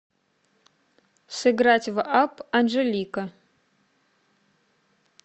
сыграть в апп анжелика